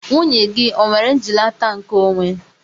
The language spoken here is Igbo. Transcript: Nwunye gị o nwere njilata nke onwe?